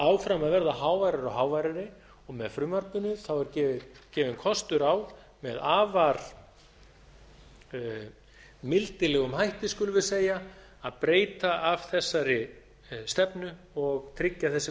áfram að verða háværari og háværari og með frumvarpinu er gefinn kostur á með afar mildilega hætti skulum við segja að breyta af þessari stefnu og tryggja þessi